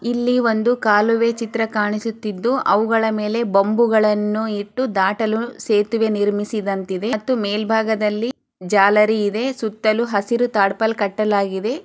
ಇಲ್ಲಿ ಒಂದು ಕಾಲುವೆ ಚಿತ್ರ ಕಾಣಿಸುತ್ತಿದ್ದು ಅವುಗಳ ಮೇಲೆ ಬೊಂಬುಗಳನು ಇಟ್ಟುದಾಟಲು ಸೇತುವೆ ನಿರ್ಮಿಸಿದಂತಿದೆ ಮತ್ತು ಮೇಲ್ಭಾಗದಲ್ಲಿ ಜಾಲರಿ ಇದೆ. ಸುತ್ತಲೂ ಹಸಿರೂ ಟಾರ್ಪಲ್ ಕಟ್ಟಲಾಗಿದೆ.